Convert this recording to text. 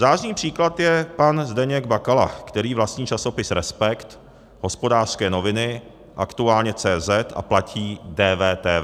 Zářný příklad je pan Zdeněk Bakala, který vlastní časopis Respekt, Hospodářské noviny, Aktuálně.cz a platí DVTV.